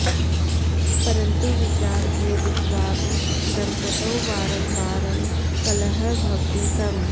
परन्तु विचारभेदत्वात् दम्पतौ वारं वारं कलहः भवति स्म